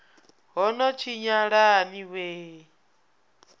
ho no tshinyala ni wee